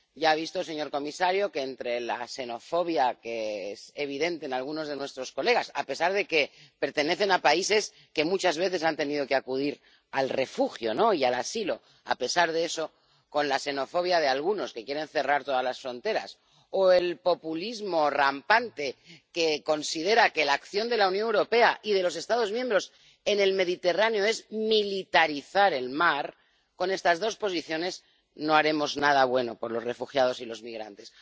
Ya ha visto, señor comisario, que, entre la xenofobia —que es evidente en algunos de nuestros colegas a pesar de que pertenecen a países que muchas veces han tenido que acudir al refugio y al asilo—, entre la xenofobia —decía— de algunos que quieren cerrar todas las fronteras y el populismo rampante que considera que la acción de la Unión Europea y de los Estados miembros en el Mediterráneo es militarizar el mar, estamos ante dos posiciones con las que no haremos nada bueno por los refugiados y los migrantes.